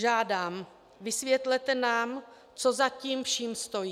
Žádám: Vysvětlete nám, co za tím vším stojí.